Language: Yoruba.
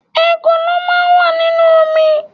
Ekòló máà ń wà nínú omi